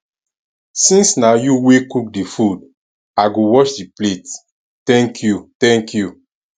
since na you wey cook the food i go wash the plate thank you thank you